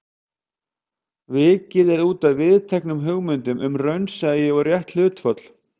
Vikið er útaf viðteknum hugmyndum um raunsæi og rétt hlutföll.